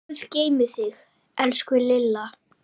Guð geymi þig, elsku Lilla.